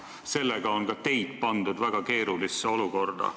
Sellega pandi ka teid väga keerulisse olukorda.